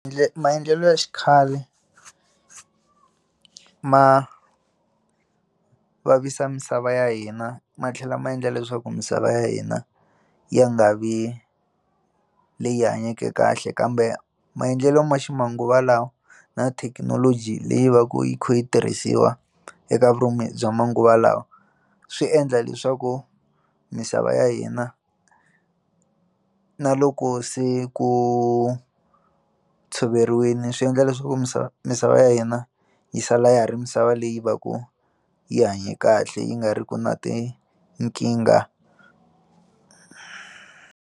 Maendlelo ya xikhale ma vavisa misava ya hina ma tlhela ma endla leswaku misava ya hina ya nga vi leyi hanyeke kahle kambe maendlelo ma ximanguva lawa na thekinoloji leyi va ku yi kha yi tirhisiwa eka vurimi bya manguva lawa swi endla leswaku misava ya hina na loko se ku tshoveriweni swi endla leswaku misava misava ya hina yi sala ya ha ri misava leyi va ku yi hanye kahle yi nga ri ki na tinkingha.